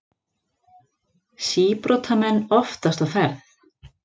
Síbrotamenn oftast á ferð